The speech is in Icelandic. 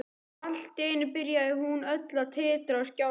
Og allt í einu byrjaði hún öll að titra og skjálfa.